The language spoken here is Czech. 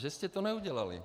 Že jste to neudělali?